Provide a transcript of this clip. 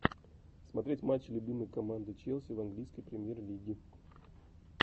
смотреть матчи любимой команды челси в английской премьер лиги